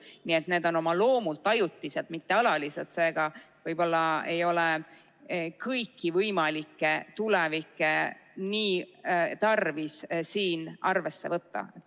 Nii et need komisjonid on oma loomult ajutised, mitte alatised, seega võib-olla ei ole kõiki võimalikke tuleviku juhte tarvis siin arvesse võtta.